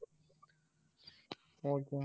okay ண்ணா